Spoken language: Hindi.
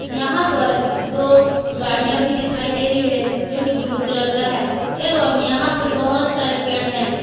यहां पर दो गाड़िया भी दिखाई दे रही है जो कि ब्लू कलर का है एवं यहां पर बहोत सारे पेड़ है।